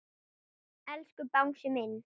Elsku Bangsi minn.